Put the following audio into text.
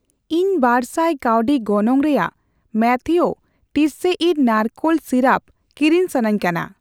ᱤᱧ ᱵᱟᱨᱥᱟᱭ ᱠᱟᱣᱰᱤ ᱜᱚᱱᱚᱝ ᱨᱮᱭᱟᱜ ᱢᱟᱛᱷᱤᱣ ᱴᱤᱥᱥᱮᱤᱨ ᱱᱟᱲᱠᱳᱞ ᱥᱤᱨᱟᱯ ᱠᱤᱨᱤᱧ ᱥᱟᱱᱟᱧᱠᱟᱱᱟ